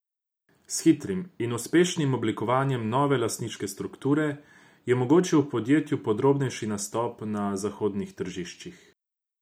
S hitrim in uspešnim oblikovanjem nove lastniške strukture je omogočil podjetju prodornejši nastop na zahodnih tržiščih.